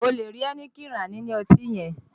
O lè rí Heineken rà ní ilé ọtí yẹn